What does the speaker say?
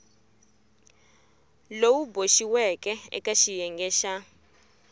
lowu boxiweke eka xiyenge xa